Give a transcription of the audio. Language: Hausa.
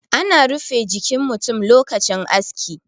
ana rufe jikin mutum lokacin aski